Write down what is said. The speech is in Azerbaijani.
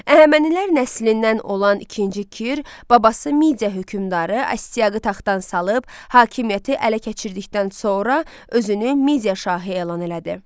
Əhəmənilər nəslindən olan ikinci Kir babası Midia hökmdarı Astiaqı taxtdan salıb, hakimiyyəti ələ keçirdikdən sonra özünü Midia şahı elan elədi.